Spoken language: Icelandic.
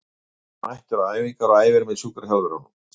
Hann er mættur á æfingar og æfir með sjúkraþjálfurunum.